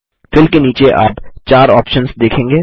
fill के नीचे आप 4 ऑप्शन्स देखेंगे